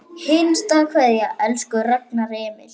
HINSTA KVEÐJA Elsku Ragnar Emil.